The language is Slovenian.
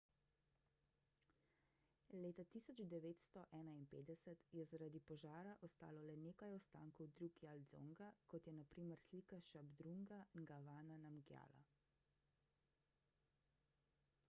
leta 1951 je zaradi požara ostalo le nekaj ostankov drukgyal dzonga kot je na primer slika šabdrunga ngavanga namgjala